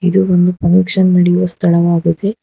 ಇದು ಒಂದು ಫುನ್ಕ್ಷನ್ ನಡೆಯುವ ಸ್ಥಳವಾಗಿದೆ.